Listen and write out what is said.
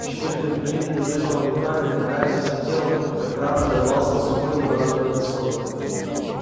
в считаные мгновения до взрыва он руками ногами всем телом как краб зарывался в сухой неподатливый песок